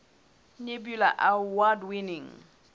nebula award winning